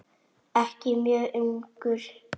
Ekki mjög ungur.